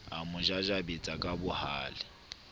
a mo jajabetsa kabohale a